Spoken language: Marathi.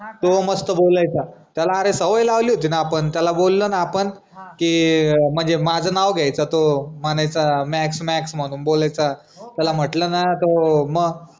तो मस्त बोलायचं त्याला अरे सवय लावली होती न आपन त्याला बोललो न आपन की म्हनजे माझं नाव घ्यायचा तो म्हनायचा मॅक्स मॅक्स म्हनून बोलायचं त्याला म्हंटलं ना तो म